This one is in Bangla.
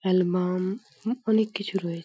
এ্যালবা-আ-ম হু অনেক কিছু রয়ে--